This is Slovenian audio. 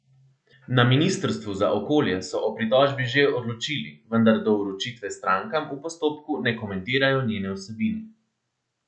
Na ministrstvu za okolje so o pritožbi že odločili, vendar do vročitve strankam v postopku ne komentirajo njene vsebine.